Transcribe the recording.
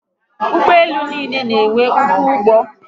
Ugboelu n'iile n'enwe ọkwọ ụgbọ